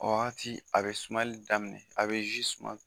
O. waati a bɛ sumali daminɛ, a bɛ zu suman.